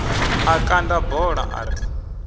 a kanda bola a ri